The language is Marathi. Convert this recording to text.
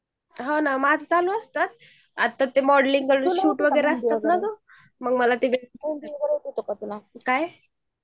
माझं चालू असतात मॉडेलिंग काय?